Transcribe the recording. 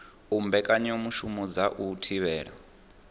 u mbekanyamushumo dza u thivhela